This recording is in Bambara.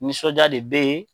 Nisɔndiya de bɛ yen.